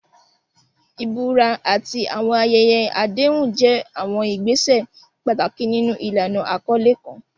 Ìbúra àti àwọn ayẹyẹ àdéhùn jẹ́ àwọn ìgbésẹ̀ pàtàkì nínú ìlànà àkọlé kan.